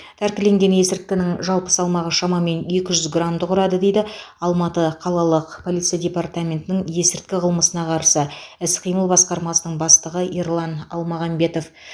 тәркіленген есірткінің жалпы салмағы шамамен екі жүз грамды құрады дейді алматы қалалық полиция департаментінің есірткі қылмысына қарсы іс қимыл басқармасының бастығы ерлан алмағамбетов